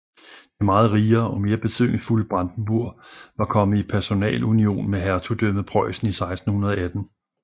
Det meget rigere og mere betydningsfulde Brandenburg var kommet i personalunion med hertugdømmet Preussen i 1618